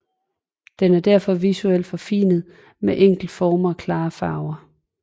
Den er derfor visuelt forfinet med enkle former og klare farver